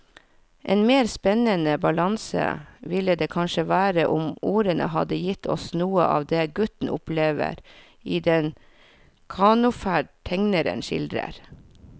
En mer spennende balanse ville det kanskje vært om ordene hadde gitt oss noe av det gutten opplever i den kanoferd tegneren skildrer.